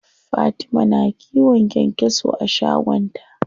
Fatima na kiwon kyankyaso a shagon ta.